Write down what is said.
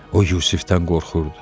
O Yusifdən qorxurdu.